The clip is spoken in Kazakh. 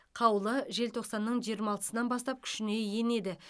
қаулы желтоқсанның жиырма алтысынан бастап күшіне енеді